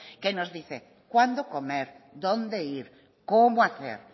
que nos dice cuándo comer dónde ir cómo hacer